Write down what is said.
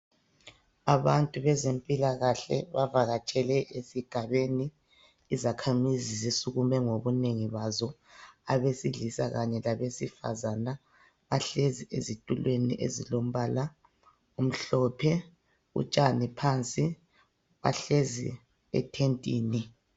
Abantu bezempilakahle bavakatshele esigabeni , izakhamizi zisukumele ngobunengi bazo , abesilisa kanye labesifazane bahlezi ezitulweni ezilombala omhlophe , utshani phansi , bahlezi ethentini